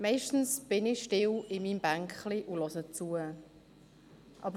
Meistens sitze ich still auf meinem Bänklein und höre zu.